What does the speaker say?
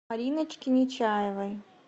мариночке нечаевой